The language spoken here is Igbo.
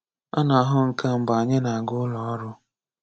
A na-ahụ nke a mgbe anyi na-aga ụlọ orụ